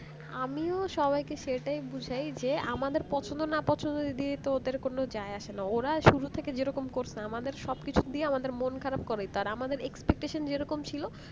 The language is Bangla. আমি সবাইকে সেটাই বুঝায় যে আমাদের পছন্দ না পছন্দের যদি ওদের কোন যায় আসে না ওরা শুধু থেকে যেরকম করছে আমাদের সবকিছু দিয়ে আমাদের মন খারাপ করাই তো আর আমাদের expectation যে এরকম ছিল